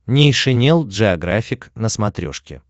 нейшенел джеографик на смотрешке